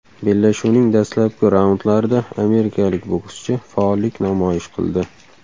Bellashuvning dastlabki raundlarida amerikalik bokschi faollik namoyish qildi.